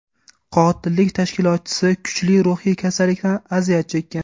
Qotillik tashkilotchisi kuchli ruhiy kasallikdan aziyat chekkan.